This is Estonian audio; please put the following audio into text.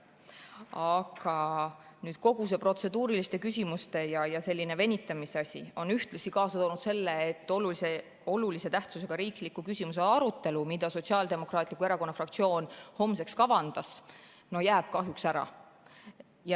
Aga kogu see protseduuriliste küsimuste ja venitamise asi on ühtlasi kaasa toonud selle, et olulise tähtsusega riikliku küsimuse arutelu, mida Sotsiaaldemokraatliku Erakonna fraktsioon homseks kavandas, jääb kahjuks ära.